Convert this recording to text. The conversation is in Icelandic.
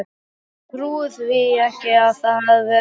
Ég trúi því ekki að það hafi bara verið þetta.